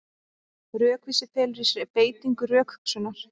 Rökvísi felur í sér beitingu rökhugsunar.